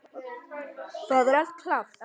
Það er allt klárt.